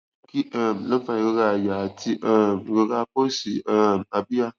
kí um ló ń fa ìrora àyà àti um ìrora apá òsì um abíyá